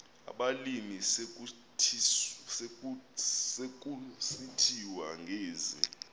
abalimi sekusithiwa ngezi